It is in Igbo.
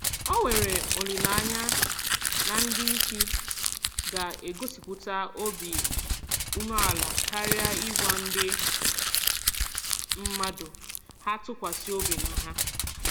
Ọ nwere olileanya na ndị isi ga-egosipụta obi umeala karịa ị gwa ndị mmadụ ha tụkwasị obi na ha.